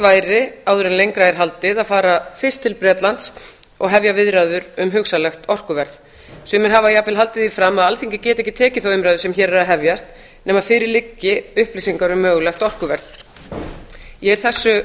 væri áður en lengra er haldið að fara fyrst til bretlands og hefja viðræður um hugsanlegt orkuverð sumir hafa jafnvel haldið því fram að alþingi geti ekki tekið þá umræðu sem hér er að hefjast nema fyrir liggi upplýsingar um mögulegt orkuverð ég er þessu